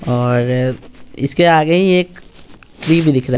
और इसके आगे ही एक ट्री भी दिख रहा है।